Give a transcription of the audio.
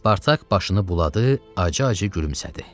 Spartak başını buladı, acı-acı gülümsədi.